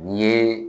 N'i ye